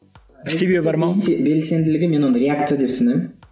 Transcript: себебі бар ма белсенділігі мен оны реакция деп санаймын